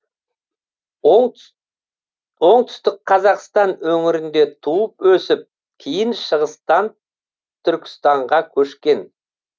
оңтүстік қазақстан өңірінде туып өсіп кейін шығыстан түркістанға көшкен